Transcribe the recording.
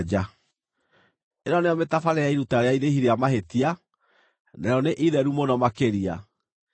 “ ‘Ĩno nĩyo mĩtabarĩre ya iruta rĩa irĩhi rĩa mahĩtia, narĩo nĩ itheru mũno makĩria: